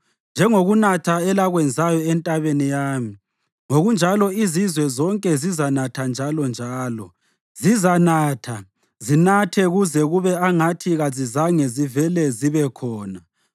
Njengokunatha elakwenzayo entabeni yami, ngokunjalo izizwe zonke zizanatha njalonjalo; zizanatha, zinathe kuze kube angathi kazizange zivele zibe khona.